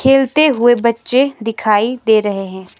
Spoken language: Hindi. खेलते हुए बच्चे दिखाई दे रहे हैं।